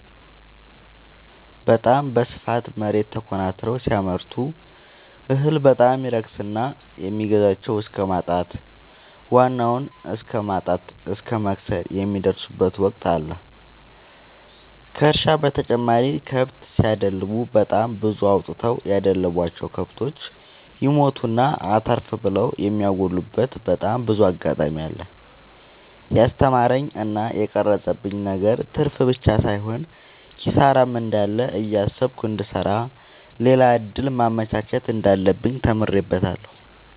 በታም በስፋት መሬት ተኮናትረው ሲያመርቱ እህል በጣም ይረክስና የሚገዛቸው እስከማጣት ዋናውን እስከማት እስከ መክሰር የሚደርሱበት ወቅት አለ ከእርሻ በተጨማሪ ከብት ሲደልቡ በጣም ብዙ አውጥተው ያደለቡቸው። ከብቶች ይሞቱና አተርፍ ብለው የሚያጎሉበቴ በጣም ብዙ አጋጣሚ አለ። የስተማረኝ እና የቀረፀብኝ ነገር ትርፍብቻ ሳይሆን ኪሳራም እንዳለ እያሰብኩ እንድሰራ ሌላ እድል ማመቻቸት እንዳለብኝ ተምሬበታለሁ።